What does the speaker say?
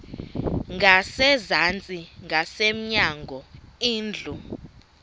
ngasezantsi ngasemnyango indlu